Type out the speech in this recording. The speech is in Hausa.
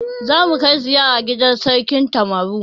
Zamu kai ziyara gidan Sarkin Damaturu.